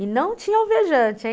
E não tinha alvejante, hein?